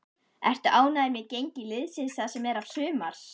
Ertu ánægður með gengi liðsins það sem af er sumars?